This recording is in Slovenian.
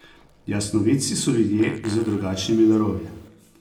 Jasnovidci so ljudje z drugačnimi darovi.